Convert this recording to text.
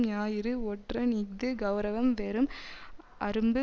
ஞாயிறு ஒற்றன் இஃது கெளரவம் வெறும் அரும்பு